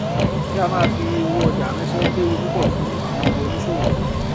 kí a máa fi owó ọjà ránṣẹ léwu púpọ fún àwọn oníṣòwò